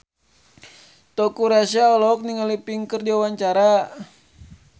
Teuku Rassya olohok ningali Pink keur diwawancara